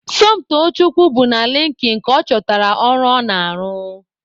Somtochukwu bụ na Linkin ka ọ chọtara ọrụ ọ na-arụ.